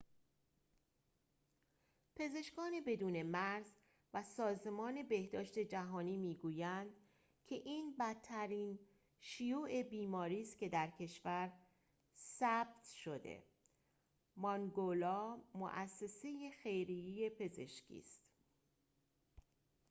مؤسسه خیریه پزشکی mangola پزشکان بدون مرز و سازمان بهداشت جهانی می‌گویند که این بدترین شیوع بیماری است که در کشور ثبت شده است